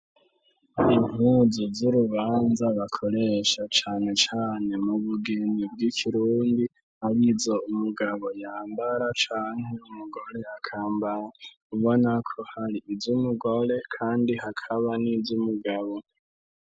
Impuzu z'urubanza bakoresha cane cane mu bugeni bw'ikirundi arizo umugabo yambara canke umugore akambara ,ubona ko hari iz'umugore kandi hakaba n'iz'umugabo.